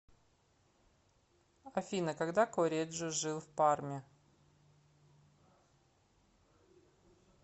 афина когда корреджо жил в парме